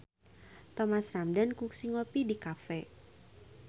Thomas Ramdhan kungsi ngopi di cafe